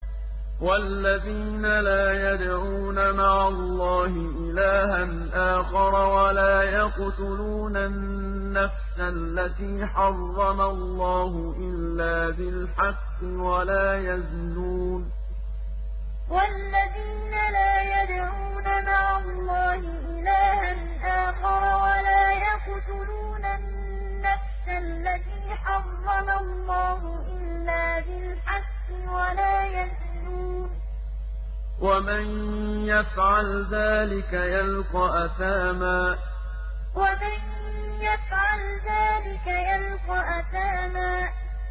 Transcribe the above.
وَالَّذِينَ لَا يَدْعُونَ مَعَ اللَّهِ إِلَٰهًا آخَرَ وَلَا يَقْتُلُونَ النَّفْسَ الَّتِي حَرَّمَ اللَّهُ إِلَّا بِالْحَقِّ وَلَا يَزْنُونَ ۚ وَمَن يَفْعَلْ ذَٰلِكَ يَلْقَ أَثَامًا وَالَّذِينَ لَا يَدْعُونَ مَعَ اللَّهِ إِلَٰهًا آخَرَ وَلَا يَقْتُلُونَ النَّفْسَ الَّتِي حَرَّمَ اللَّهُ إِلَّا بِالْحَقِّ وَلَا يَزْنُونَ ۚ وَمَن يَفْعَلْ ذَٰلِكَ يَلْقَ أَثَامًا